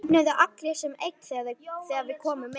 Þeir þögnuðu allir sem einn þegar við komum inn.